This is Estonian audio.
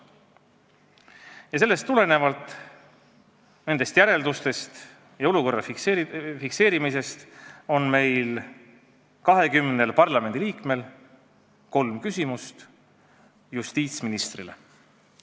Ja sellest tulenevalt, nendest järeldustest ja sellisest olukorra fikseerimisest tulenevalt on meil, 20 parlamendiliikmel kolm küsimust justiitsministrile.